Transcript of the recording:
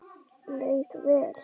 Leið vel.